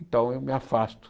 Então eu me afasto.